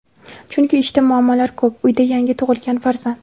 Chunki ishda muammolar ko‘p, uyda yangi tug‘ilgan farzand.